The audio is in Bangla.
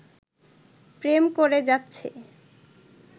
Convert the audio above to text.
প্রেম করে যাচ্ছে